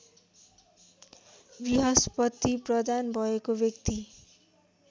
वृहस्पति प्रधान भएको व्यक्ति